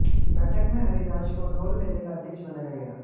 बैठक में हरिराज को डोल मेले का अध्यक्ष बनाया गया